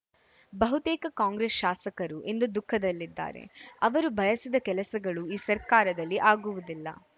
ಬಹುತೇಕ ಕಾಂಗ್ರೆಸ್‌ ಶಾಸಕರು ಇಂದು ದುಖಃದಲ್ಲಿದ್ದಾರೆ ಅವರು ಬಯಸಿದ ಕೆಲಸಗಳು ಈ ಸರ್ಕಾರದಲ್ಲಿ ಆಗುವುದಿಲ್ಲ